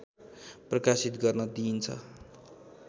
प्रकाशित गर्न दिइन्छ